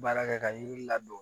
Baara kɛ ka yiri ladon